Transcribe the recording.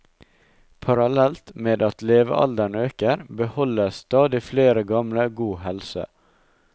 Parallelt med at levealderen øker, beholder stadig flere gamle god helse.